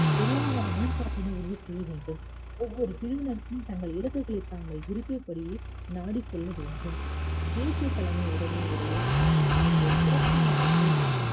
பொருளாதார மேம்பாட்டினை உறுதி செய்ய வேண்டும் ஒவ்வொரு பிரிவினருக்கும் தங்கள் இலக்குகளை தாங்கள் விரும்பிய படியே நாடிச் செல்ல வேண்டும் தேசிய தலைமை உடைமை உடைய அஹ் வேண்டும்